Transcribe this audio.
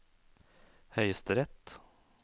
høyesterett